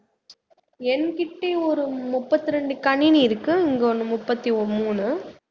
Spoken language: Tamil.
என்கிட்ட ஒரு முப்பத்ரெண்டு கணினி இருக்கு இங்க ஒண்ணு முப்பத்தி மூணு